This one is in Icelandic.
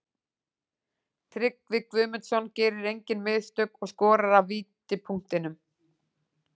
Tryggvi Guðmundsson gerir engin mistök og skorar af vítapunktinum.